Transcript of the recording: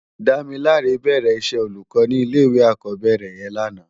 Damilare bèrè iṣè ólúkò ni ilé iwé ákòbèrè yèn làná